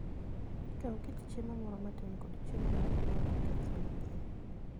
Kaw kit chiemo moro matin kod chiemo moko ma ok kethre mapiyo.